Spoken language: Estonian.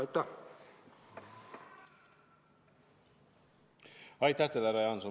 Aitäh teile, härra Jaanson!